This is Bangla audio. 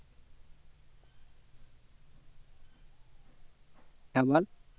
হ্যাঁ বল